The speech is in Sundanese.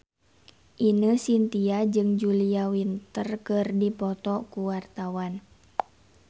Ine Shintya jeung Julia Winter keur dipoto ku wartawan